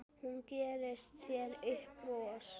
Hún gerir sér upp bros.